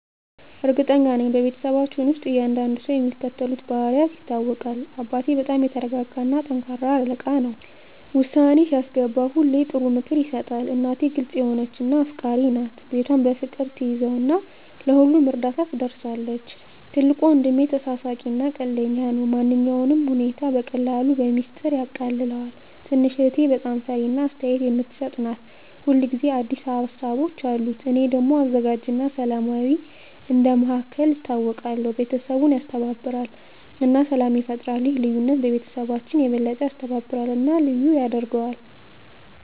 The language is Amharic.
እርግጠኛ ነኝ፤ በቤተሰባችን ውስጥ እያንዳንዱ ሰው በሚከተሉት ልዩ ባህሪያት ይታወቃል - አባቴ በጣም የተረጋጋ እና ጠንካራ አለቃ ነው። ውሳኔ ሲያስገባ ሁሌ ጥሩ ምክር ይሰጣል። እናቴ ግልጽ የሆነች እና አፍቃሪች ናት። ቤቷን በፍቅር ትያዘው እና ለሁሉም እርዳታ ትደርሳለች። ትልቁ ወንድሜ ተሳሳቂ እና ቀልደኛ ነው። ማንኛውንም ሁኔታ በቀላሉ በሚስጥር ያቃልለዋል። ትንሽ እህቴ በጣም ፈጣሪ እና አስተያየት የምትሰጥ ናት። ሁል ጊዜ አዲስ ሀሳቦች አሉት። እኔ ደግሞ አዘጋጅ እና ሰላማዊ እንደ መሃከል ይታወቃለሁ። ቤተሰቡን ያስተባብራል እና ሰላም ይፈጥራል። ይህ ልዩነት ቤተሰባችንን የበለጠ ያስተባብራል እና ልዩ ያደርገዋል።